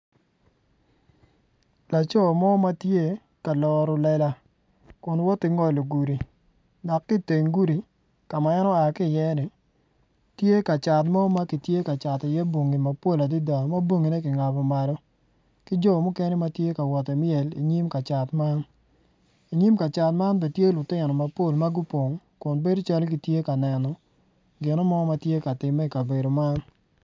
Laco mo ma tye ka loro lela kun woto ki ngolo gudi dok ki i teng gudi ka ma en oa ki i ye-ni tye ka cat mo ma kitye ka cato bongi mapol adada ma bongine ki ngabo malo ki jo mukene ma gitye ka wot ki myel i nyim kacat man.